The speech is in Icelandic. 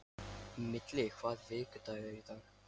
Millý, hvaða vikudagur er í dag?